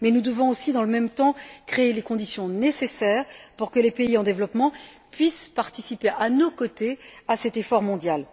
Nous devons aussi, dans le même temps, créer les conditions nécessaires pour que les pays en développement puissent participer à nos côtés à cet effort mondial.